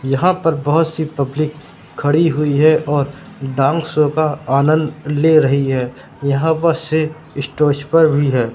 यहां पर बहोत सी पब्लिक खड़ी हुई है और डांस शो का आनंद ले रही है यहां बस से स्टेज पर भी है।